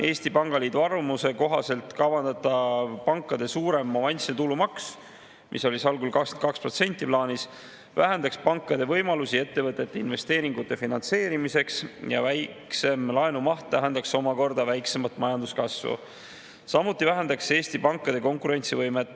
Eesti Pangaliidu arvamuse kohaselt kavandatav pankade suurem avansiline tulumaks, mis algul oli plaanis 22%, vähendaks pankade võimalusi ettevõtete investeeringute finantseerimiseks ja väiksem laenumaht tähendaks omakorda väiksemat majanduskasvu, samuti vähendaks see Eesti pankade konkurentsivõimet.